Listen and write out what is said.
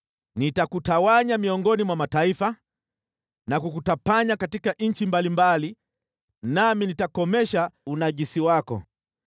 Nitakutawanya miongoni mwa mataifa na kukutapanya katika nchi mbalimbali nami nitakomesha unajisi wako.